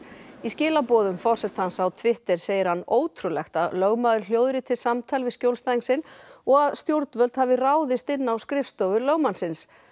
í skilaboðum forsetans á Twitter segir hann ótrúlegt að lögmaður hljóðriti samtal við skjólstæðing sinn og að stjórnvöld hafi ráðist inn á skrifstofur lögmannsins